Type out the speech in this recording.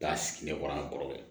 Taa sigi ne kɔrɔ an kɔrɔkɛ